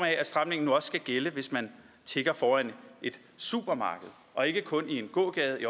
af at stramningen nu også skal gælde hvis man tigger foran et supermarked og ikke kun i en gågade i